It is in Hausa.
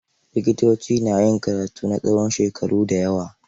Likitoci na yin karatu na tsawon shekaru da yawa.